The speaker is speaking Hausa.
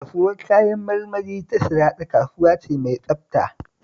Kasuwar Kayan marmari ta Sharaɗa kasuwa ce mai tsabta